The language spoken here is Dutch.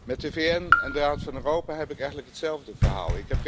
Met de VN en de Raad van Europa heb ik eigenlijk hetzelfde verhaal.